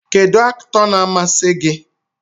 Kedu Aktọ na amasi gi?